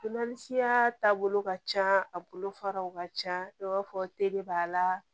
taabolo ka can a bolo faraw ka ca i b'a fɔ teri b'a la